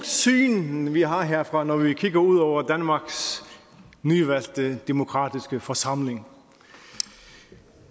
syn vi har herfra når vi kigger ud over danmarks nyvalgte demokratiske forsamling